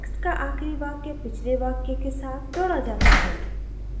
text का आखिरी वाक्य पिछले वाक्य के साथ जोड़ा जाता है